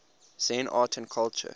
zen art and culture